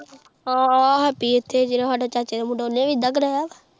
ਆ ਹੈਪੀ ਇੱਥੇ ਜਿਹੜਾ ਸਾਡੇ ਚਾਚੇ ਦਾ ਮੁੰਡਾ ਉਨੇ ਵੀ ਏਦਾ ਕਰਾਇਆ।